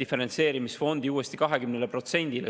diferentseerimisfondi uuesti 20%-le.